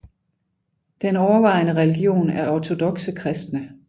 Den overvejende religion er ortodokse kristne